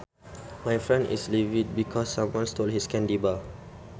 My friend is livid because someone stole his candy bar